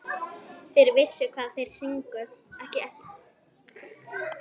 Þeir vissu hvað þeir sungu.